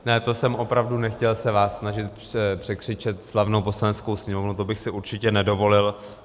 Ne, to jsem opravdu nechtěl se vás snažit překřičet, slavnou Poslaneckou sněmovnu, to bych si určitě nedovolil.